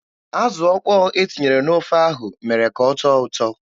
Azụ ọkpọ e tinyere n'ofe ahụ mere ka ọ tọọ ụtọ.